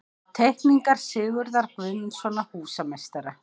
Teikningar Sigurðar Guðmundssonar, húsameistara.